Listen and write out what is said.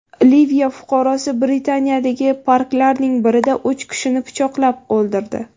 Liviya fuqarosi Britaniyadagi parklarning birida uch kishini pichoqlab o‘ldirdi.